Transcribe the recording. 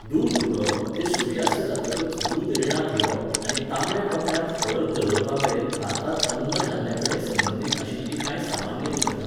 दूद उडोवप ते सुर्यास्त जातकच दूद रिणांत घेवप, आनी तांबड्या कपड्यांत हळद दवरपामेरेन भारतांत अन्नधान्याकडेन संबंदीत आशिल्लीं कांय सामान्य मिथकां